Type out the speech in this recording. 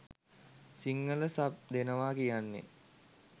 Sinhala sub දෙනවා කියන්නෙ